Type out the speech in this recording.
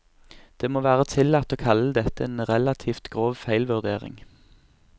Det må være tillatt å kalle dette en relativt grov feilvurdering.